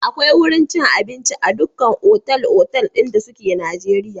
Akwai wurin cin abinci a dukkan otal-otal ɗin da suke Najeriya.